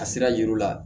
A sira yiri la